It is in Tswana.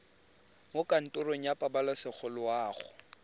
mo kantorong ya pabalesego loago